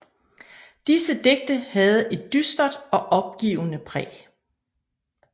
Disse digte havde et dystert og opgivende præg